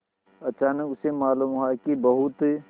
अचानक उसे मालूम हुआ कि बहुत